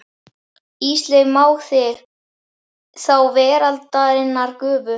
Ísleif mág þinn, þá veraldarinnar gufu.